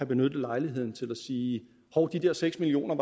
benyttet lejligheden til at sige hov de der seks million